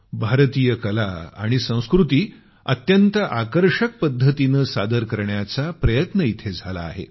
भारतीय कला आणि संकृती अत्यंत आकर्षक पद्धतीनं सादर करण्याचा प्रयत्न इथं झाला आहे